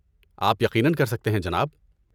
آپ یقیناً کر سکتے ہیں جناب۔